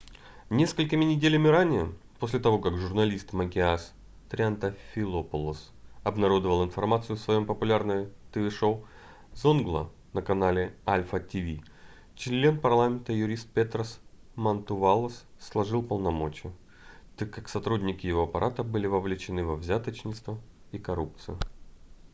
несколькими неделями ранее после того как журналист макис триантафилопулос обнародовал информацию в своем популярном тв-шоу zoungla на канале alpha tv член парламента и юрист петрос мантувалос сложил полномочия так как сотрудники его аппарата были вовлечены во взяточничество и коррупцию